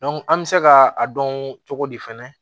an bɛ se ka a dɔn cogo di fɛnɛ